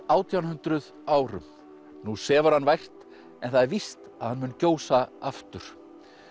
átján hundruð árum nú sefur hann vært en það er víst að hann mun gjósa aftur